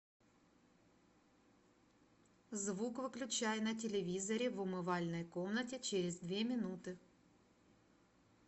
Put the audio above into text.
звук выключай на телевизоре в умывальной комнате через две минуты